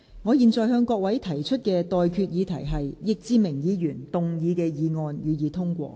我現在向各位提出的待決議題是：易志明議員動議的議案，予以通過。